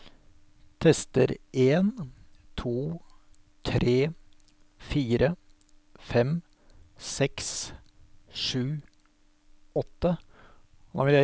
Tester en to tre fire fem seks sju åtte